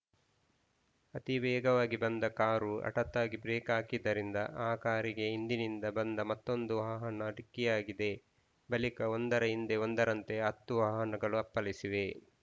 ಅತಿವೇಗವಾಗಿ ಬಂದ ಕಾರು ಹಠಾತ್ತಾಗಿ ಬ್ರೇಕ್‌ ಹಾಕಿದ್ದರಿಂದ ಆ ಕಾರಿಗೆ ಹಿಂದಿನಿಂದ ಬಂದ ಮತ್ತೊಂದು ವಾಹನ ಡಿಕ್ಕಿಯಾಗಿದೆ ಬಳಿಕ ಒಂದರ ಹಿಂದೆ ಒಂದರಂತೆ ಹತ್ತು ವಾಹನಗಳು ಅಪ್ಪಳಿಸಿವೆ